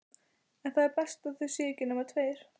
En það er best að það séu ekki nema tveir.